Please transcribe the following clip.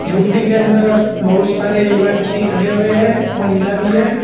झोपड़ी के अंदर बहुत सारे व्यक्ति खड़े हुए हैं महिला भी है।